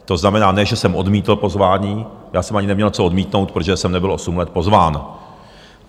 To znamená, ne že jsem odmítl pozvání, já jsem ani neměl co odmítnout, protože jsem nebyl osm let pozván.